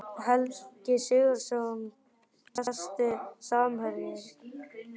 Helgi Sigurðsson Besti samherjinn?